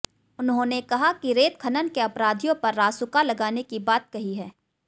उन्होंने कहा कि रेत खनन के अपराधियों पर रासुका लगाने की बात कही है